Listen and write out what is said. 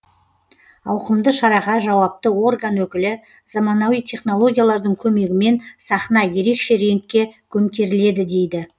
ауқымды шараға жауапты орган өкілі заманауи технологиялардың көмегімен сахна ерекше реңкке көмкеріледі дейді